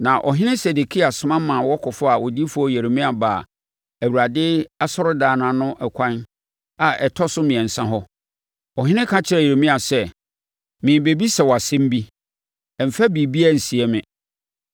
Na Ɔhene Sedekia soma ma wɔkɔfaa odiyifoɔ Yeremia baa Awurade asɔredan ano ɛkwan a ɛtɔ so mmiɛnsa hɔ. Ɔhene ka kyerɛɛ Yeremia sɛ, “Merebɛbisa wo asɛm bi, mfa biribiara nsie me.”